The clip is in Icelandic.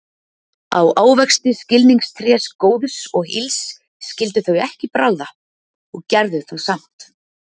Á ávexti skilningstrés góðs og ills skyldu þau ekki bragða, og gerðu það samt.